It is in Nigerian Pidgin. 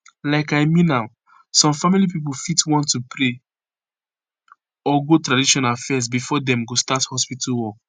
like i mean am some family pipo fit want to pray or go traditional fezz before dem go start hospitu work